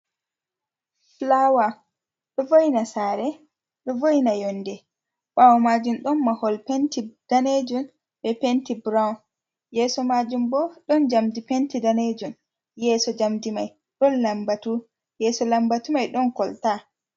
Fullawa ɗo vôina sare, ɗo vôina yondé bawo majum ɗon mahol penti ɗanejum ɓe penti burawun yeso majum ɓo ɗon jamɗi penti ɗanejum yeso jamdi mai ɗon làmbatu yeso làmbatu mai ɗon kolta.